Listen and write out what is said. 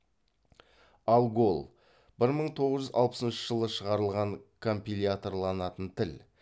алгол бір мың тоғыз жүз алпысыншы жылы шығарылған компиляторланатын тіл